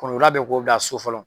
Kono labɛn k'o bila so fɔlɔ.